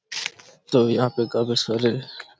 तो यहाँ पे काफी सारे--